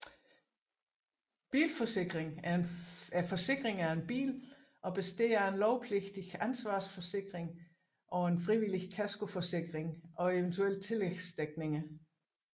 Bilforsikring er forsikring af en bil og består af en lovpligtig ansvarsforsikring samt en frivillig kaskoforsikring og eventuelt tillægsdækninger